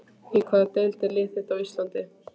Í hvaða deild er þitt lið á Íslandi?